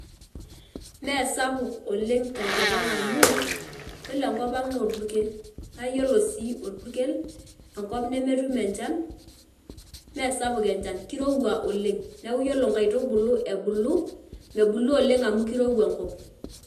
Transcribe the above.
Mesapuk oleng' tenkopang amu, ore enkopang naa olpurkel. Naa iyiolo sii olpurkel enkop nemetum enjan mesapuk enjan kirowua oleng', neeku ore inkaitubulu ebulu mebulu oleng' amu kirowua enkop.